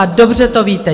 A dobře to víte!